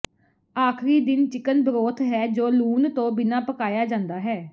ਆਖਰੀ ਦਿਨ chicken broth ਹੈ ਜੋ ਲੂਣ ਤੋਂ ਬਿਨਾਂ ਪਕਾਇਆ ਜਾਂਦਾ ਹੈ